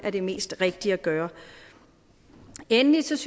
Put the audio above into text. det mest rigtige at gøre endelig synes